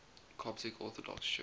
coptic orthodox church